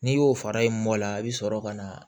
N'i y'o fara i mɔla i bɛ sɔrɔ ka na